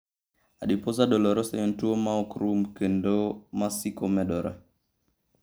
Adiposa dolorosa en tuwo ma ok rum kendo ma siko medore.